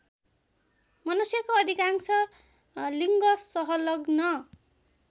मनुष्यको अधिकांश लिङ्गसहलग्न